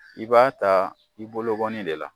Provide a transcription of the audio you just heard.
I b'a ta i bolonkɔnin de la.